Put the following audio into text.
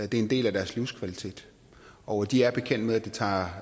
det er en del af deres livskvalitet og de er bekendt med